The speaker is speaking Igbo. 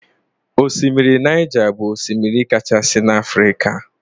Osimiri Naija bụ osimiri kachasị n'Afrika